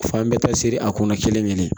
Fan bɛɛ ta siri a kunna kelen kelen